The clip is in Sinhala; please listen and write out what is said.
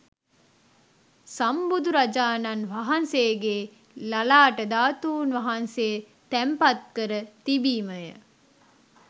සම්බුදුරජාණන් වහන්සේගේ ලලාට ධාතූන් වහන්සේ තැන්පත් කර තිබීමය.